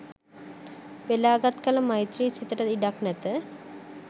වෙලාගත් කළ මෛත්‍රි සිතට ඉඩක් නැත.